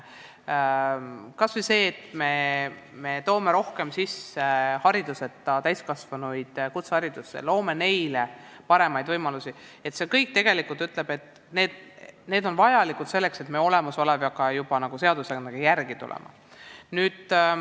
Kui me toome kutseharidusse rohkem hariduseta täiskasvanuid ja loome neile paremaid võimalusi, siis see kõik tegelikult näitab, et meil on vaja seadustega järele tulla.